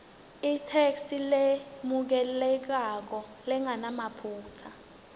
itheksthi lemukelekako lengenamaphutsa